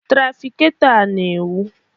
Trafikato a na-enwu